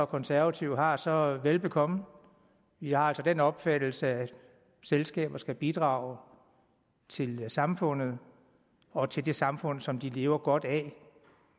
konservative har så velbekomme jeg er altså af den opfattelse at selskaber skal bidrage til samfundet og til det samfund som de lever godt af